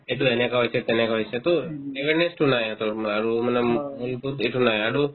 এইটো এনেকুৱা হৈছে তেনেকুৱা হৈছেতো awareness তো নাই ইহঁতৰ আৰু মানে মূ~ মূৰটোত এইটো নাই আৰু